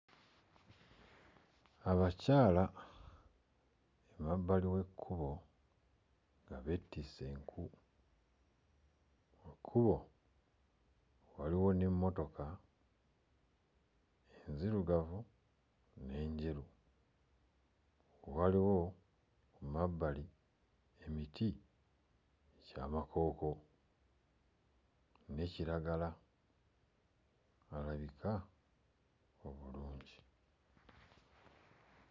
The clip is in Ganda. Abakyala emabbali w'ekkubo nga beetisse enku. Ku kkubo waliwo n'emmotoka enzirugavu n'enjeru. Waliwo emabbali emiti gy'amakooko ne kiragala alabika obulungi.